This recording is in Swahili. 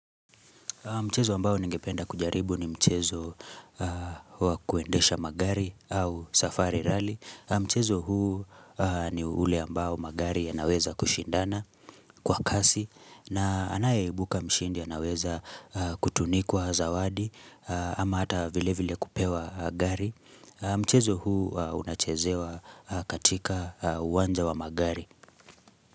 Mchezo ambao ningependa kujaribu ni mchezo wa kuendesha magari au safari rally. Mchezo huu ni ule ambao magari ya naweza kushindana kwa kasi na anayebuka mshindi anaweza kutunikwa zawadi ama hata vile vile kupewa gari. Mchezo huu unachezewa katika uwanja wa magari.